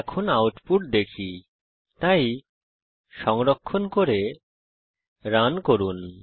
এখন আউটপুট দেখি তাই সংরক্ষণ করে রান করুন